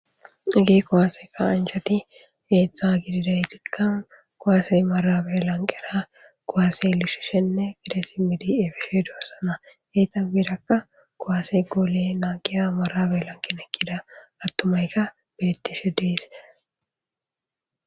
Haggeti kuwase ka'anchati heezhzha giddidaytika kuwase marabbe lanqqera kuwase lishishene dhiqishe deiyabi beidosona eeta guyerra kuwase goole naggiya marabbe lanqqen eqqida attumayka betishe dessi